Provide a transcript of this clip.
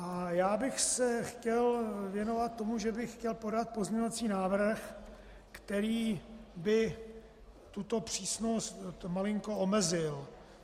A já bych se chtěl věnovat tomu, že bych chtěl podat pozměňovací návrh, který by tuto přísnost malinko omezil.